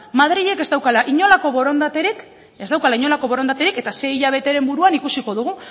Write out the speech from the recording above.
madrilek ez daukala inolako borondaterik ez daukala inolako borondaterik eta sei hilabeteren buruan ikusiko dugu